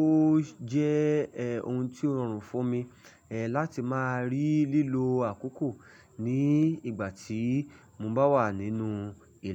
ó jẹ́ ohun tí ó rọrùn fún mi, láti máa rí lílo àkókò ní ìgbà tí mo bá wà nínú ìlà.